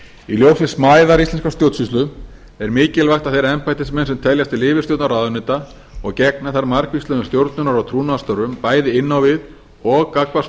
í ljósi smæðar íslenskrar stjórnsýslu er mikilvægt að þeir embættismenn sem teljast til yfirstjórnar ráðuneyta og gegna þar margvíslegum stjórnunar og trúnaðarstörfum bæði inn á við og gagnvart